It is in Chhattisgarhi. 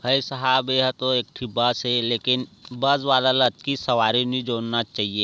भाई सहाब यहा इकठी बस हे लेकिन बस वाला आकी सवारी नी जोना चाहिए।